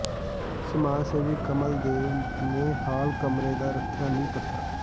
ਸਮਾਜ ਸੇਵੀ ਕਮਲ ਦੇਵ ਨੇ ਹਾਲ ਕਮਰੇ ਦਾ ਰੱਖਿਆ ਨੀਂਹ ਪੱਥਰ